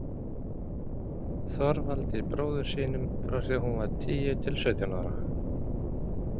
Þorvaldi bróður sínum, frá því að hún var tíu til sautján ára.